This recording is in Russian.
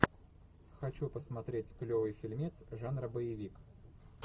хочу посмотреть клевый фильмец жанра боевик